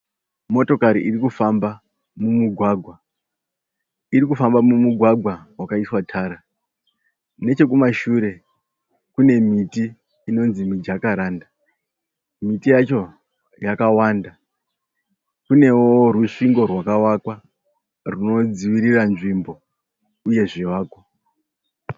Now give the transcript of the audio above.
Motokari irikufamba mumugwagwa . Irikufamba mumugwagwa wakaiswa tara. Nechekumashure kune miti inonzi mijakaranda . Miti yacho yakawanda. Kunewo rusvingo rwakavakwa rinodzivirira nzvimbo uye zvivakwa.